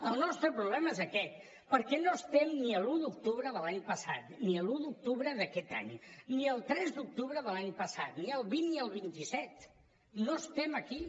el nostre problema és aquest perquè no estem ni a l’un d’octubre de l’any passat ni a l’un d’octubre d’aquest any ni al tres d’octubre de l’any passat ni al vint ni al vint set no estem aquí